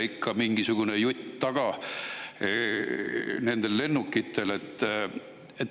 Ikka on mingisugune jutt taga nendel lennukitel.